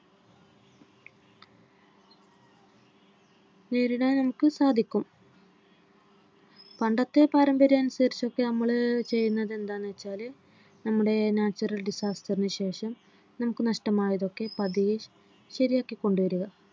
നേരിടാൻ നമുക്ക് സാധിക്കും. പണ്ടത്തെ കാലഘട്ടം അനുസരിച്ച്നമ്മൾ ചെയ്യുന്നത് എന്താന്ന് വെച്ചാൽ നമ്മുടെ natural disaster നുശേഷം നമുക്ക് നഷ്ടമായതൊക്കെ പതിയെശരിയാക്കി കൊണ്ടുവരിക